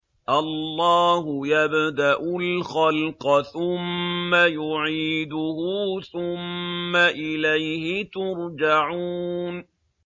اللَّهُ يَبْدَأُ الْخَلْقَ ثُمَّ يُعِيدُهُ ثُمَّ إِلَيْهِ تُرْجَعُونَ